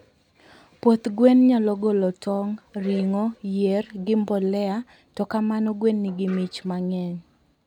puoth gwen nyalo golo tong, ringo, yier gi mbolea to kamano gwen nigi mich mangeny